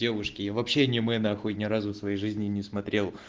девушки и в обще аниме нахуй ни разу в своей жизни не смотрел